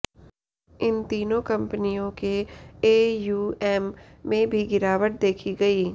इन तीनों कंपनियों के एएयूएम में भी गिरावट देखी गई